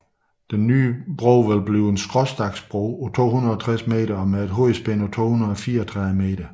Den nye bro vil blive en skråstagsbro på 260 meter og med et hovedspænd på 234 meter